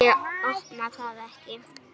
Ég opna það ekki.